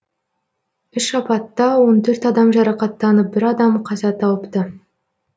үш апатта он төрт адам жарақаттанып бір адам қаза тауыпты